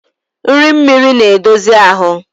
Nri mmiri na-edozi ahụ.